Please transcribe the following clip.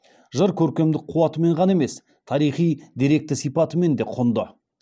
жыр көркемдік қуатымен ғана емес тарихи деректі сипатымен де кұнды